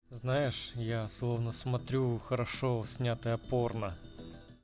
знаешь я словно смотрю хорошо снятое порно